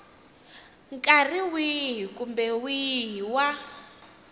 nkarhi wihi kumbe wihi wa